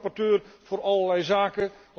Die is toch rapporteur voor allerlei zaken.